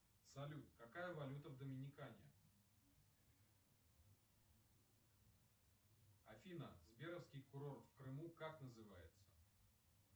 салют какая валюта в доминикане афина сберовский курорт в крыму как называется